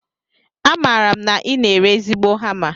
Amaara m na I na-ere ezigbo hama